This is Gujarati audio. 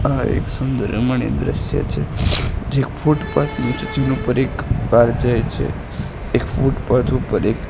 આ એક સુંદર રમણીય દ્રશ્ય છે જે એક ફૂટપાથ નુ છે જેના ઉપર એક પાર જાય છે એક ફૂટપાથ ઉપર એક--